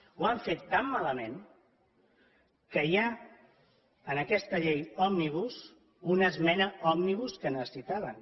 ho han fet tan malament que hi ha en aquesta llei òmnibus una esmena òmnibus que necessitaven